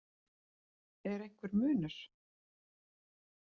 Er einhver munur?